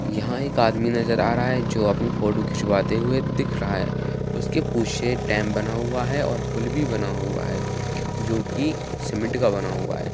यहाँ एक आदमी नजर आ रहा है जो अपनी फोटो खिचवाते हुए दिख रहा है| उसके पीछे डेम बना हुआ और पूल भी बना हुआ है जो की सीमेंट का बना हुआ है।